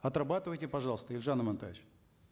отрабатывайте пожалуйста елжан амантаевич